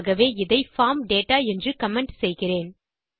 ஆகவே இதை form data என்று கமெண்ட் செய்கிறேன்